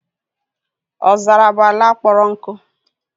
Ọzara bụ ala kpọrọ nkụ